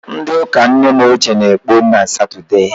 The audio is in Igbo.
Ndị ụka nne m ochie na-ekpe na Satọdee